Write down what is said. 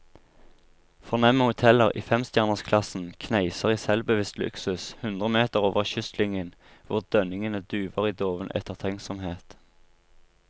Fornemme hoteller i femstjernersklassen kneiser i selvbevisst luksus hundre meter over kystlinjen hvor dønningene duver i doven ettertenksomhet.